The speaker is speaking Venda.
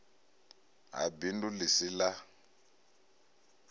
ha bindu ḽi si ḽa